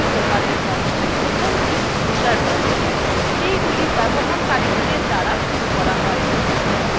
processes দুইপ্রকার হয় প্রথমটি user processes সেইগুলি ব্যবহারকারীদের দ্বারা শুরু করা হয়